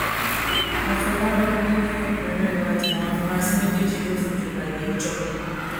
àfọlábábí ní lẹ́yìn ẹkúnrẹrẹ ìwádìí làwọn afurasí méjèèjì yóò fojú bá iléẹjọ